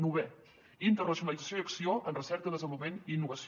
novena internacionalització i acció en recerca desenvolupament i innovació